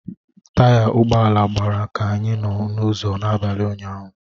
Taya ụgbọ ala gbawara ka anyị nọ n'ụzọ n'abalị ụnyahụ